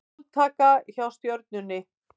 Blóðtaka hjá Stjörnunni